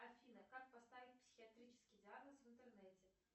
афина как поставить психиатрический диагноз в интернете